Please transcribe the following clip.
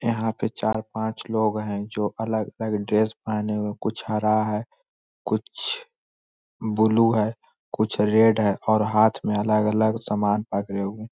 यहाँ पे चार पाँच लोग है जो अलग अलग ड्रेस पहने हुए कुछ हरा है कुछ ब्लू है कुछ रेड है और हाथ में अलग अलग सामान पकड़े हुए --